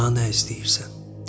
Daha nə istəyirsən?